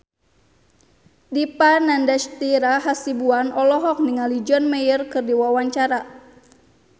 Dipa Nandastyra Hasibuan olohok ningali John Mayer keur diwawancara